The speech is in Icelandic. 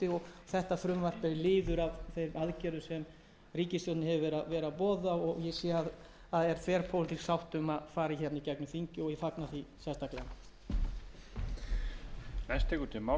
og bregðast við með einhverjum hætti þetta frumvarp er liður í þeim aðgerðum sem ríkisstjórnin hefur boðað ég sé að það er þverpólitísk sátt um að það fari í gegnum þingið og ég fagna því sérstaklega